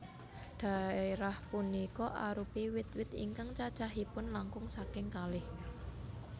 Dhaérah punika arupi wit wit ingkang cacahipun langkung saking kalih